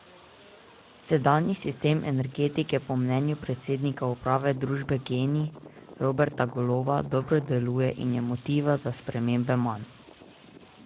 Sedanji sistem energetike po mnenju predsednika uprave družbe Gen I Roberta Goloba dobro deluje in je motiva za spremembe manj.